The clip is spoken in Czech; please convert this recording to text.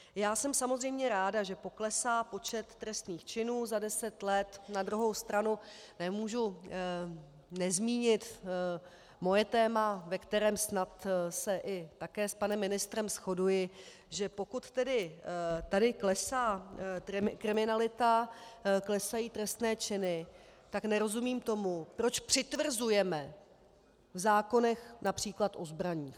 Já jsem samozřejmě ráda, že poklesá počet trestných činů za deset let, na druhou stranu nemohu nezmínit svoje téma, ve kterém snad se i také s panem ministrem shoduji, že pokud tedy tady klesá kriminalita, klesají trestné činy, tak nerozumím tomu, proč přitvrzujeme v zákonech, například o zbraních.